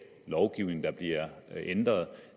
lovgivning der bliver ændret